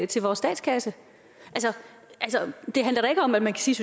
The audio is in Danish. til vores statskasse det handler da ikke om at man kan sige